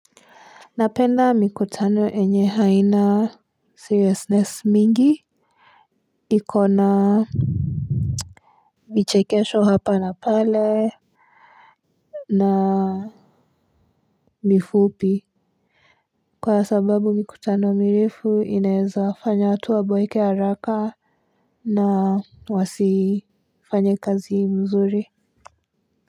Napenda mikutano yenye haina seriousness mingi ikona michekesho hapa na pale na mifupi kwa sababu mikutano mirefu inaeza fanya watu wa boeke haraka na wasifanyekazi mzuri.